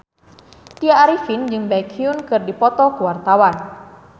Tya Arifin jeung Baekhyun keur dipoto ku wartawan